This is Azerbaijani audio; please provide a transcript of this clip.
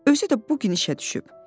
Özü də bu gün işə düşüb.